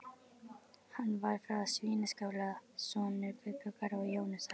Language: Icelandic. Hann var frá Svínaskála, sonur Guðbjargar og Jónasar.